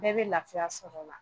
Bɛɛ bɛ lafiya sɔrɔ o la.